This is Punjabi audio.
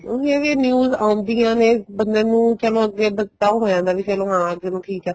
ਉਹੀ ਹੈ ਵੀ news ਆਉਦੀਆਂ ਨੇ ਬੰਦੇ ਨੂੰ ਚਲੋ ਅੱਗੇ ਪਛਤਾਹੋ ਹੋ ਜਾਂਦਾ ਚਲੋਂ ਹਾਂ ਚਲੋਂ ਠੀਕ ਏ